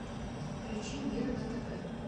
включи мир на тв